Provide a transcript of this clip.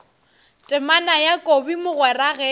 temana ya kobi mogwera ge